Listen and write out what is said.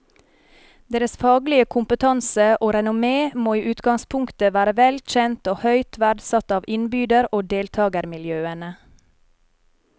Deres faglige kompetanse og renommé må i utgangspunktet være vel kjent og høyt verdsatt av innbyder og deltagermiljøene.